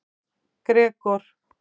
Gregor